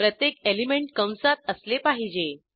प्रत्येक एलिंमेंट कंसात असले पाहिजे